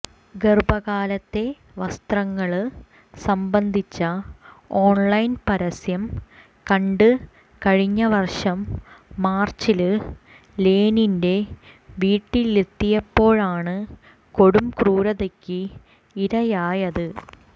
ഗര്ഭകാലത്തെ വസ്ത്രങ്ങള് സംബന്ധിച്ച ഓണ്ലൈന് പരസ്യം കണ്ട് കഴിഞ്ഞ വര്ഷം മാര്ച്ചില് ലേനിന്റെ വീട്ടിലെത്തിയപ്പോഴാണ് കൊടുംക്രൂരതയ്ക്ക് ഇരയായത്